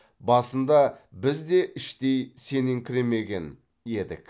басында біз де іштей сеніңкіремеген едік